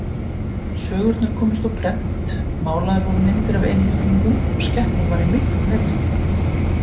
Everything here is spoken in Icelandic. Sögurnar komust á prent, málaðar voru myndir af einhyrningum og skepnan var í miklum metum.